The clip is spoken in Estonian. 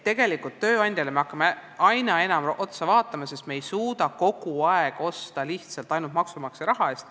Tegelikult me hakkame aina enam tööandja poole vaatama, sest me ei suuda kogu aeg osta vahendeid ainult maksumaksja raha eest.